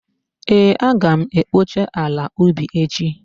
Ee, Aga m ekpocha ala ubi echi